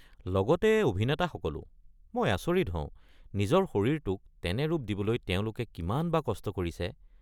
লগতে অভিনেতাসকলো, মই আচৰিত হওঁ নিজৰ শৰীৰটোক তেনে ৰূপ দিবলৈ তেওঁলোকে কিমান বা কষ্ট কৰিছে।